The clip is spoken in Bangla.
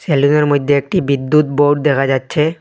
রেলিংয়ের মইধ্যে একটি বিদ্যুৎ বোর্ড দেখা যাচ্ছে।